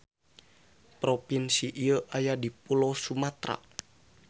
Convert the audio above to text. Propinsi ieu aya di Pulo Sumatra.